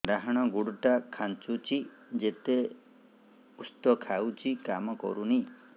ଡାହାଣ ଗୁଡ଼ ଟା ଖାନ୍ଚୁଚି ଯେତେ ଉଷ୍ଧ ଖାଉଛି କାମ କରୁନି